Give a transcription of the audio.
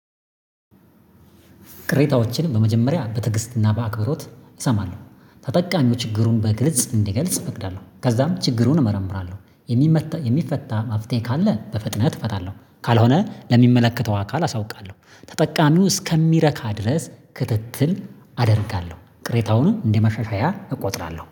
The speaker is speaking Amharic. ቅሬታዎችንም በመጀመሪያ በትዕግስትና በአክብሮት እሰማለሁ። ተጠቃሚዎች ችግሩን በግልጽ እንዲገልጽ እፈቅዳለሁ። ከዛም ችግሩን እመረምራለሁ፤ የሚመታ የሚፈታ መፍትሄ ካለ በፍጥነት እፈታለሁ፤ ካልሆነ ለሚመለከተው አካል አሳውቃለሁ። ተጠቃሚው እስከሚረካ ድረስ ክትትል አ አደርጋለሁ፤ ቅሬታውን እንደመሻሻያ እቆጥራለሁ።